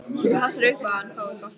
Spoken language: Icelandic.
Þú passar upp á að hann fái gott loft.